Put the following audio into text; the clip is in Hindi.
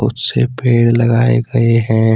उस से पेड़ लगाए गए हैं।